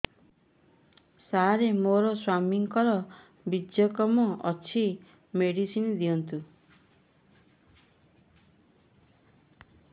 ସାର ମୋର ସ୍ୱାମୀଙ୍କର ବୀର୍ଯ୍ୟ କମ ଅଛି ମେଡିସିନ ଦିଅନ୍ତୁ